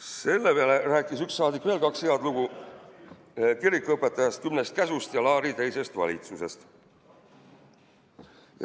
" Selle peale rääkis üks saadik veel kaks head lugu kirikuõpetajast, kümnest käsust ja Laari teisest valitsusest.